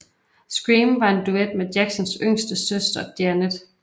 Scream var en duet med Jacksons yngste søster Janet